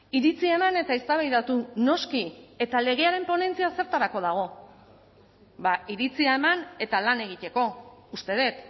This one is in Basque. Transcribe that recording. iritzia eman eta eztabaidatu noski eta legearen ponentzia zertarako dago bada iritzia eman eta lan egiteko uste dut